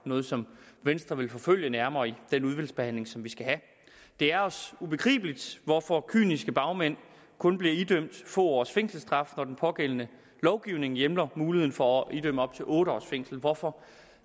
noget som venstre vil forfølge nærmere i den udvalgsbehandling som vi skal have det er os ubegribeligt hvorfor kyniske bagmænd kun bliver idømt få års fængselsstraf når den pågældende lovgivning hjemler mulighed for at idømme op til otte års fængsel hvorfor